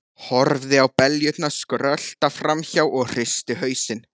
Horfði á beljurnar skrölta fram hjá og hristi hausinn.